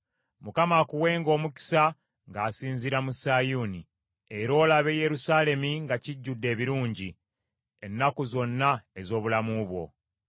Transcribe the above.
Mukama akuwenga omukisa ng’asinziira mu Sayuuni, era olabe Yerusaalemi nga kijjudde ebirungi ennaku zonna ez’obulamu bwo.